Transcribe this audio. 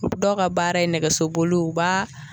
Dɔw ka baara ye nɛgɛso boli u b'a